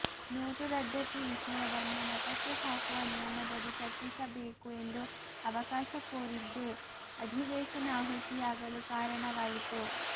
note ರದ್ದತಿ ವಿಷಯವನ್ನು ಮತಕ್ಕೆ ಹಾಕುವ ನಿಯಮದಡಿ ಚರ್ಚಿಸಬೇಕು ಎಂದು ಅವಕಾಶ ಕೋರಿದ್ದೇ ಅಧಿವೇಶನ ಆಹುತಿಯಾಗಲು ಕಾರಣವಾಯಿತು